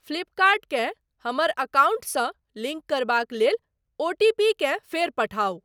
फ्लिपकर्ट केँ हमर अकाउंटसँ लिंक करबाक लेल ओटीपीकेँ फेर पठाउ।